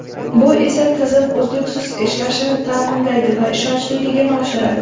Bu esa tizim uzluksiz ishlashini ta’minlaydi va ishonchliligini oshiradi.